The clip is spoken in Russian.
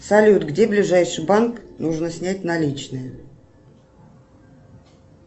салют где ближайший банк нужно снять наличные